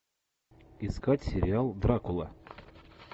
искать сериал дракула